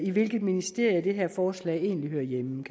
i hvilket ministerie det her forslag egentlig hører hjemme